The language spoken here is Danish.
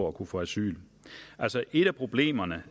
at kunne få asyl altså et af problemerne